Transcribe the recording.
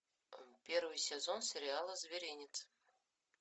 первый сезон сериала зверинец